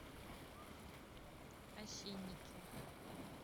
осинники